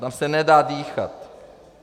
Tam se nedá dýchat.